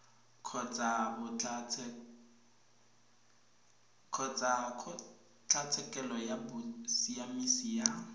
kgotsa kgotlatshekelo ya bosiamisi ya